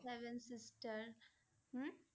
Seven Sister home?